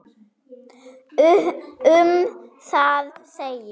Um það segir: